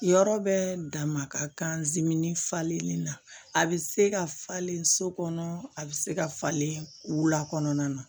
Yɔrɔ bɛ damaka kan falenni na a bɛ se ka falen so kɔnɔ a bɛ se ka falen wula kɔnɔna na